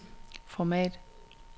format